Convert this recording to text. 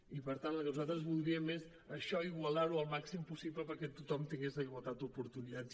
i per tant el que nosaltres voldríem és això igualar ho el màxim possible perquè tothom tingués igualtat d’oportunitats